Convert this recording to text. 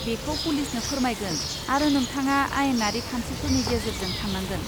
बेखौ पुलिसनो फोरमायगोन, आरो नोंथाङा आयेनारि खान्थिफोरनि गेजेरजों थांनांगोन।